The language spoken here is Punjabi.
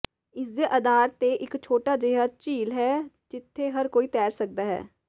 ਇਸਦੇ ਅਧਾਰ ਤੇ ਇਕ ਛੋਟਾ ਜਿਹਾ ਝੀਲ ਹੈ ਜਿੱਥੇ ਹਰ ਕੋਈ ਤੈਰ ਸਕਦਾ ਹੈ